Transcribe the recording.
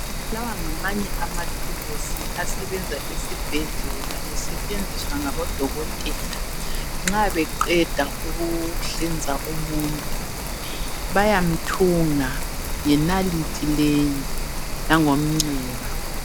Lawa ngamanye amathuluzi asebenza esibhedlela esetshenziswa ngabodokotela nxa beqeda ukuhlinza umuntu bayamthunga ngenalithi leyi langomnxeba